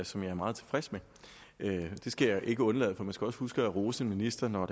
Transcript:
som jeg er meget tilfreds med det skal jeg ikke undlade at sige for man skal også huske at rose en minister når